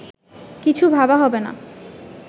কিছু ভাবা হবেনা